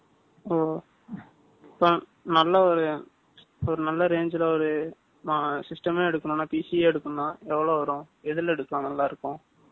னல்ல range la நல்ல ஒரு ஒரு நல்ல range ல ஒரு system யெ எடுகனும் நா PC யெ எடுகனும் நா எவலொ வரும் எதுல எடுத்தா நல்ல இருக்கும்